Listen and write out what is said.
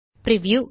preview